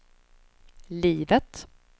livet